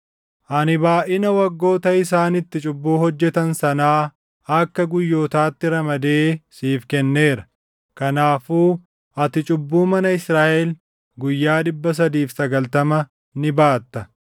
Ani baayʼina waggoota isaan itti cubbuu hojjetan sanaa akka guyyootaatti ramadee siif kenneera. Kanaafuu ati cubbuu mana Israaʼel guyyaa 390 ni baatta.